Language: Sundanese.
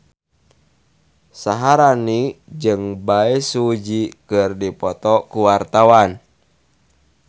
Syaharani jeung Bae Su Ji keur dipoto ku wartawan